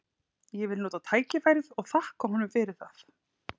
Ég vil nota tækifærið og þakka honum fyrir það.